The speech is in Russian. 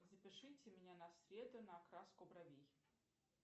запишите меня на среду на окраску бровей